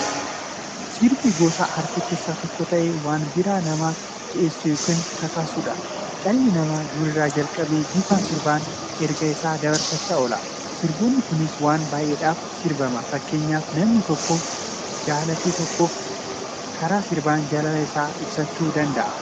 Sirbi gosa aartii keessaa tokko ta'ee, waan biraa namaa si'eessu yookiin kakaasuudha. Dhalli nama durii irraa jalqabee bifa sirbaan ergaa isaa dabarfachaa oola. Sirboonni kunis waan baay'edhaaf sirbama. Fakkeenyaf namni tokko nama jalate tokkoof karaa sirbaan jaalala isaa ibsachuu danda'a.